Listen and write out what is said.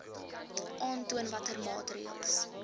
aantoon watter maatreëls